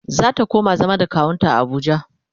zata koma zama da kawunta a Abuja